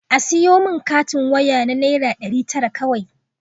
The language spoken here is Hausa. A siyo min katin waya na naira ɗari tara kawai